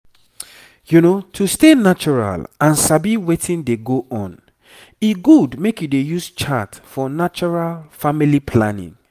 to stay natural and sabi wetin dey go on e good make you dey use chart for natural family planning